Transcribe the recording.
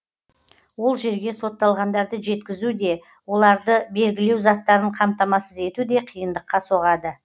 ол жерге сотталғандарды жеткізу де оларды белгілеу заттарын қамтамасыз ету де қиындыққа соғады